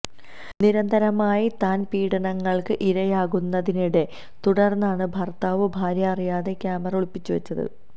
നിരന്തരമായി താന് പീഡനങ്ങൾക്ക് ഇരയാകുന്നതതിനെ തുടര്ന്നാണ് ഭർത്താവ് ഭാര്യ അറിയാതെ ക്യാമറ ഒളിപ്പിച്ചുവെച്ചത്